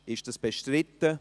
Ist dies bestritten?